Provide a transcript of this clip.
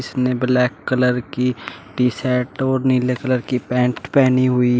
उसने black colour की T shirt और नीले कलर की पैंट पहनी हुई।